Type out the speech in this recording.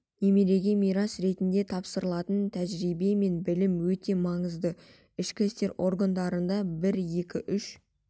немереге мирас ретінде тапсырылатын тәжірибе мен білім өте маңызды ішкі істер органдарында бір екі үш